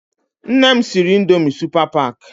Nne m siri Ịndomì Supa Pak.